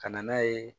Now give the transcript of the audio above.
Ka na n'a ye